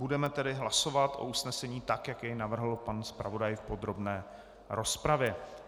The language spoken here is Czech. Budeme tedy hlasovat o usnesení tak, jak jej navrhl pan zpravodaj v podrobné rozpravě.